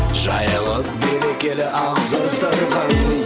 жайылып берекелі ақ дастархан